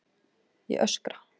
Ég öskra.